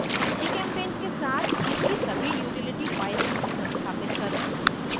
gchempaint के साथ इसकी सभी utility files संस्थापित करना